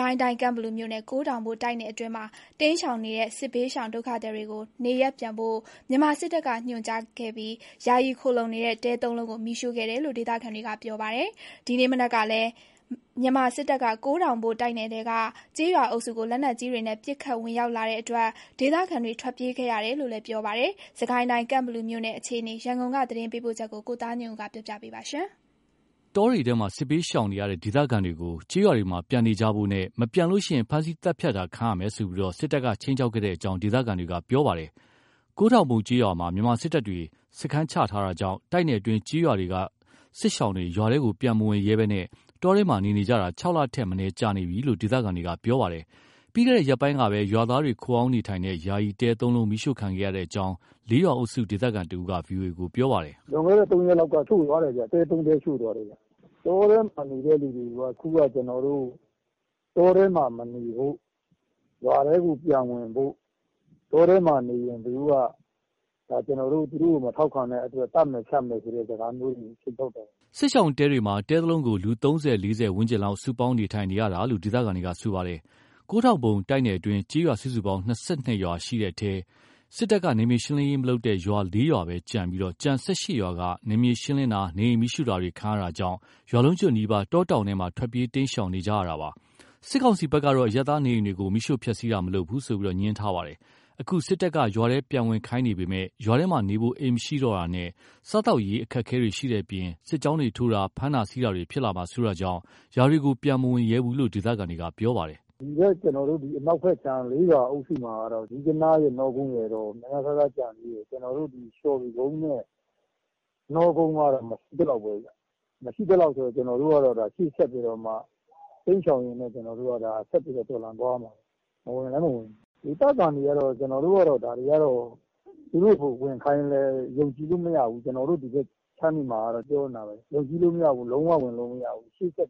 ကိုင်းတိုင်း ကန့်ဘလူမြို့နယ် ကိုးထောင်ဘို့တိုက်နယ်အတွင်းက စစ်ဘေးရှောင် ဒုက္ခသည်တွေ နေရပ်ပြန်ဖို့ မြန်မာစစ်တပ်က ညွှန်ကြားခဲ့ပြီးနောက် ယာယီခိုလှုံနေတဲ့ တဲသုံးလုံးကို မီးရှို့ခဲ့တယ်လို့ ဒေသခံတွေက ပြောပါတယ်။ ဒီနေ့ မနက်ကလည်း မြန်မာစစ်တပ်က ကိုးထောင်ဘို့ တိုက်နယ်ထဲက ကျေးရွာအုပ်စုကို လက်နက်ကြီးတွေနဲ့ ပစ်ခတ်ဝင်ရောက်လာတဲ့အတွက် ဒေသခံတွေ ထွက်ပြေးခဲ့ရတယ်လို့ ပြောပါတယ်။ စစ်ကိုင်းတိုင်း ကန့်ဘလူမြိုနယ် အခြေအနေ သတင်းပေးပို့ချက်ကို ကိုသားညွန့်ဦးက တင်ပြပေးထားပါတယ်။ တောတွေထဲမှာ စစ်ဘေးရှောင်နေရတဲ့ ဒေသခံတွေကို ကျေးရွာတွေမှာ ပြန်နေကြဖို့နဲ့ မပြန်ရင် ဖမ်းဆီးသတ်ဖြတ်တာခံရမယ်ဆိုပြီး စစ်တပ်က ခြိမ်းခြောက်ခဲ့တဲ့အကြောင်း ဒေသခံတွေက ပြော်ပတယ်။ ကိုးထောင်ဘို့ကျေးရွာမှာ မြန်မာစစ်တပ်တွေ စခန်းချထားတာကြောင့် တိုက်နယ်အတွင်း ကျေးရွာတွေက စစ်ရှောင်တွေ ရွာထဲပြန်မဝင်ရဲဘဲ တောထဲမှာ နေနေကြတာ ၆ လထက်မနည်းကြာနေကြပြီလို့ ဒေသခံတွေက ပြောပါတယ်။ ပြီးခဲ့တဲ့ရက်ပိုင်းကပဲ ရွာသားတွေ ခိုအောင်းနေတဲ့ ယာယီတဲသုံးလုံး မီးရှို့ခံခဲ့ရတဲ့အကြောင်း လေးရွာအုပ်စု ဒေသခံတဦးက VOA ပြောပါတယ်။ “လွန်ခဲ့တဲ့ ၃ ရက်လောက်က ရှို့သွာားတယ်ဗျ။ တဲ ၃ လုံး ရှို့သွားတယ်ဗျ။ တောထဲမှာ နေတဲ့သူတွေကိုက အခု (စကစတွေက) ကျနော်တို့ တောထဲမှာမနေဖို့၊ ရွာထဲကို ပြန်ဝင်ဖို့၊ တောထဲမှာနေရင် ကျနော်တို့က သူတို့ကို မထောက်ခံတဲ့အတွက် သတ်မယ်ဖြတ်မယ်ဆိုတဲ့ စကားမျိုးတွေအထိ သူတို့ ပြောသွားတယ်။” စစ်ရှောင်တဲတွေမှာတဲတလုံးကို လူ ၃၀၊ ၄၀ ဝန်းကျင်လောက် စုပေါင်းနေကြရတာလို့ ဒေသခံတွေက ပြောပါတယ်။ ကိုးထောင်ဘို့တိုက်နယ်အတွင်း ကျေးရွာ စုစုပေါင်း ၂၂ ရွာရှိတဲ့အထဲ စစ်တပ်က နယ်မြေရှင်းလင်းရေးမလုပ်တဲ့ရွာ ၄ ရွာသာကျန်ပြီး ကျန် ၁၈ ရွာက နယ်မြေရှင်းလင်းတာ၊ နေအိမ်မီးရှို့ခံရတာတွေကြောင့် ရွာလုံးကျွတ်နီးပါး တောင်ထဲမှာ ထွက်ပြေးတိမ်းရှောင်နေကြတာပါ။ စစ်ကောင်စီဘက်ကတော့ အရပ်သားနေအိမ်တွေကို မီးရှို့ဖျက်ဆီးတာ မလုပ်ဘူးဆိုပြီး ငြင်းဆိုထားပါတယ်။ အခု စစ်တပ်က ရွာထဲပြန်ဝင်နေခိုင်းပေမယ့် ရွာထဲမှာ နေဖို့ အိမ်မရှိတော့တာနဲ့ စားသောက်ရေး အခက်အခဲတွေရှိတဲ့အပြင် စစ်ကြောင်းတွေထိုးတာ၊ ဖမ်းတာဆီးတာတွေဖြစ်လာမှာစိုးတာကြောင့် ရွာတွေကို ပြန်မဝင်ရဲဘူးလို့ ဒေသခံတွေက ပြောပါတယ်။ “ကျနော်တို့ကတော့ အနောက်ဖက်ခြမ်း လေးရွာအုပ်စုဘက်မှာကတော့ ဇီးကနားနဲ့ နှောကုန်းကတော့ (အိမ်ခြေ) နည်းနည်းပါးပါး ကျန်သေးတယ်။ လျော်ပင်ကုန်းနဲ့ ချပ်သင်းကတော့ မရှိသလောက်ပဲဗျ။ မရှိသလောက်ပဲ ဆိုတော့ ရှေ့ဆက်ပြီးတော့ တိမ်းရှောင်ပြီးတော့ ဆက်တော်လှန်သွားရမှာပေါ့။ ဝင်လည်းမဝင်ရဲဘူးလေ။ သူတို့က ဝင်ခိုင်းလည်း ကျနော်တို့က ယုံကြည်လို့မရဘူး။ ဒီဘက်ခြမ်းတွေမှာကတော့ အားလုံးက ပြောနေကြတာပဲ။ ဘယ်လိုမှ ယုံကြည်လို့မရဘူး။ လုံးဝဝင်လို့ မရဘူး။ မလွ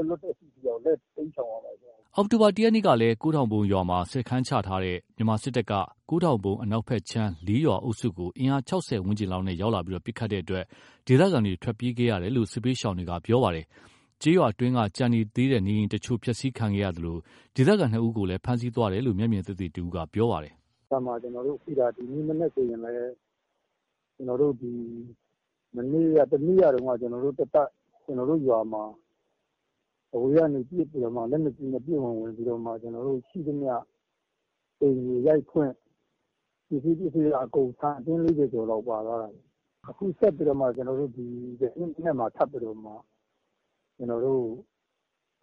တ် လွတ်တဲ့အထိ တိမ်းရှောင်ပြီးတော့ နေကြရမှာပဲ။” အောက်တိုဘာ ၁ ရက်နေ့ကလည်း ကိုးထောင်ဘို့ရွာမှာ စခန်းချထားတဲ့ မြန်မာစစ် တပ်က ကိုးထောင်ဘို့အနောက်ဘက်ခြမ်း လေးရွာအုပ်စုကို အင်အား ၆၀ ဝန်းကျင်လောက်နဲ့ ရောက်လာပြီး ပစ်ခတ်တဲ့အတွက် ဒေသခံတွေ ထွက်ပြေးခဲ့ရတယ်လို့ စစ်ဘေးရှောင်တွေက ပြောပါတယ်။ ကျေးရွာအတွင်းက ကျန်နေသေးတဲ့ နေအိမ်တချို့ဖျက်ဆီးခဲ့သလို ဒေသခံ ၂ ဦးကိုလည်း ဖမ်းဆီးသွားတယ်လို့ မျက်မြင်သက်သေတဦးက ပြောပါတယ်။ “ကိုးထောင်ဘို့အနောက်ဘက်ခြမ်းမှာ ဒီမနက်တင်ပဲ တကြောင်း၊ မနေ့ တနေ့က တုန်းကလည်း ကျနော်တို့ရွာမှာ အဝေးကနေ လက်နက်ကြီးတွေနဲ့ ပစ်ဝင် ဝင်ပြီးတော့မှာ ရွာမှာရှိသမျှအိမ်တွေရိုက်ဖွင့်၊ ရှိသမျှ ပစ္စည်းအကုန်ထမ်းယူတာ၊ ကျနော့်အိမ်က သိန်း ၄၀ ကျော်ဖိုးလောက်ပါသွားတယ်။ အခုဆက်ပြီးတော့မှ ဒီနေ့မှာထပ်ပြီးတော့ အခု လျော်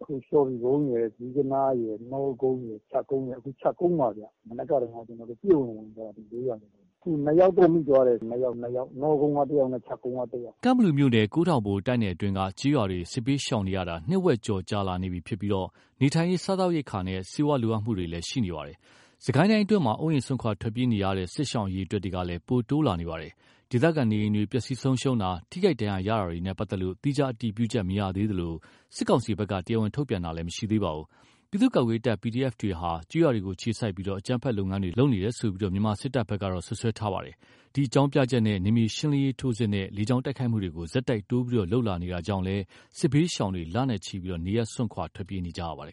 ဖြူကုန်းရယ်၊ ဇီးကနားရယ်၊ နှောကုန်းရယ်၊ ချပ်သင်းရယ်ကို ဝင်တာ။ အခု ချပ်ကုန်းမှာဗျ။ မနက်ကတုန်းက ဒီလေးရွာစလုံးကို ပစ်ဝင်ဝင်သွားတာ ထပ်ပြီးတော့။ သူတို့ ၂ ယောက်မိသွားတယ်ဗျ။ နှောကုန်းက တယောက် ချပ်ကုန်းက တယောက်။” ကန့်ဘလူမြို့နယ် ကိုးထောင်ဘို့တိုက်နယ်အတွင်းက ကျေးရွာတွေ စစ်ဘေးရှောင်နေရတာ နှစ်ဝက် ကျော်ကြာလာပြီဖြစ်ပြီး နေထိုင်ရေး၊ စားသောက်ရိက္ခာနဲ့ ဆေးဝါး လိုအပ်မှုတွေလည်း ရှိနေပါတယ်။ စစ်ကိုင်းအတွင်းမှာ အိုးအိမ် စွန့်ခွာ ထွက်ပြေးနေကြရတဲ့ စစ်ရှောင်အရေအတွက်လည်း ပိုတိုးလာနေပါတယ်။ ဒေသခံနေအိမ်တွေ ပျက်စီးဆုံးရှုံးတာ၊ ထိခိုက်ဒဏ်ရာရတာတွေနဲ့ပတ်သက်လို့ သီးခြားအတည်ပြုချက်မရသေးသလို စစ်ကောင်စီဘက်က တရားဝင် ထုတ်ပြန် တာလည်း မရှိသေးပါဘူး။ ပြည်သူ့ကာကွယ်ရေးတပ် PDF တွေဟာ ကျေးရွာတွေကို အခြေစိုက်ပြီး အကြမ်းဖက်လုပ်ငန်းတွေ လုပ်နေတယ်လို့ မြန်မာစစ်တပ်က စွပ်စွဲထားပါတယ်။ ဒီအကြောင်းပြချက်နဲ့ နယ်မြေရှင်းလင်းရေး ထိုးစစ်နဲ့ လေကြောင်းတိုက်ခိုက်မှုတွေကို ဆက်တိုက် တိုးပြီး လုပ်လာနေတာကြောင့်လည်း စစ်ဘေးရှောင်တွေ လနဲ့ချီ နေရပ်စွန့်ခွာထွက်ပြေးနေကြပါတယ်